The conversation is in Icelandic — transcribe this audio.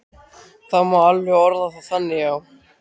Það má alveg orða það þannig, já.